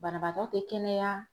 Banabaatɔ te kɛnɛya.